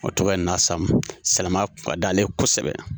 O tɔgɔ ye Nasamu silamɛya kun ka d'ale ye kosɛbɛ